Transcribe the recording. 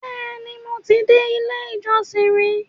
Bẹ́ẹ̀ni, mo ti dé ilé-ìjọsìn rí